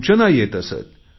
सूचना येत असत